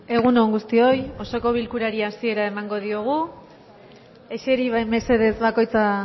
egun on guztioi osoko bilkurari hasiera emango diogu eseri mesedez bakoitza